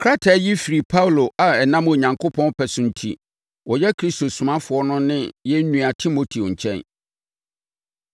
Krataa yi firi Paulo a ɛnam Onyankopɔn pɛ so enti, ɔyɛ Kristo somafoɔ no ne yɛn nua Timoteo nkyɛn,